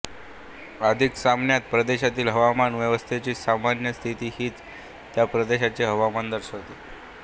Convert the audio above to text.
अधिक सामान्यत प्रदेशातील हवामान व्यवस्थेची सामान्य स्थिती हिच त्या प्रदेशाचे हवामान दर्शवते